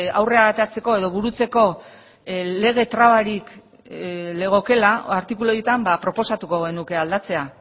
aurrera ateratzeko edo burutzeko lege trabarik legokeela artikulu horietan proposatuko genuke aldatzea